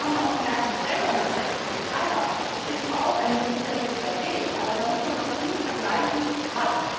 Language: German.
Wir haben auch gemerkt Die Trennung von Netz und Betreiber ist zwar auch ein möglicher richtiger Weg, aber da muss man noch viel vergleichen,